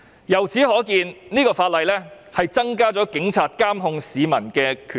由此可見，《條例草案》增加了警察監控市民的權力。